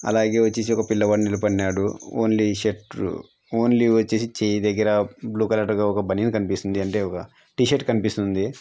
అలాగే వచ్చేసి ఒక పిల్లవాడు నిలబడి నాడు. ఓన్లీ షర్ట్ ఓన్లీ చేయి దగ్గర బ్లూ కలర్ గా ఒక బనియన్ కనిపిస్తుంది. అంటే ఒక టీ-షర్ట్ కనిపిస్తుంది.